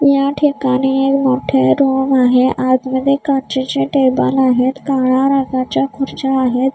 या ठिकाणी मोठे रूम आहे आतमध्ये काचेचे टेबल आहेत काळ्या रंगाच्या खुर्च्या आहेत.